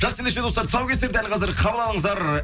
жақсы ендеше достар тұсаукесер дәл қазір қабыл алыңыздар